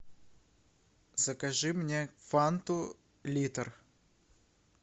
закажи мне фанту литр